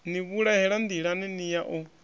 ni vhulahela nḓilani ya u